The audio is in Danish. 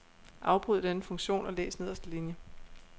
Afbryd denne funktion og læs nederste linie.